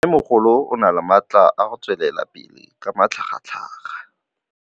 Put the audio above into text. Mmêmogolo o na le matla a go tswelela pele ka matlhagatlhaga.